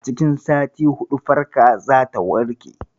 A cikin sati huɗu, farka zata warke.